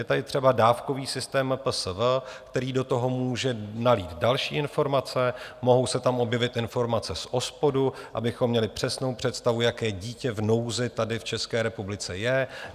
Je tady třeba dávkový systém MPSV, který do toho může nalít další informace, mohou se tam objevit informace z OSPODu, abychom měli přesnou představu, jaké dítě v nouzi tady v České republice je.